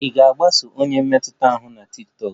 Ị ga-agbaso onye mmetụta ahụ na tiktokụ?